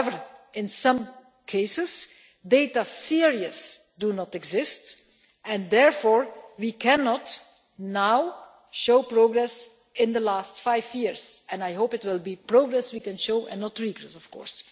However, in some cases, data series do not exist and therefore we cannot now show progress in the last five years I hope it will be progress we can show and not regress, of course.